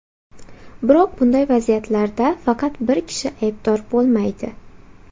Biroq bunday vaziyatlarda faqat bir kishi aybdor bo‘lmaydi.